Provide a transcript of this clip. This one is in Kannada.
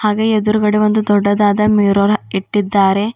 ಅದೇ ಎದ್ರುಗಡೆ ಒಂದು ದೊಡ್ಡದಾದ ಮಿರರ್ ಇಟ್ಟಿದ್ದಾರೆ.